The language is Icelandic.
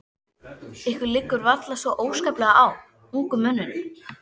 Ykkur liggur varla svo óskaplega á, ungum mönnunum.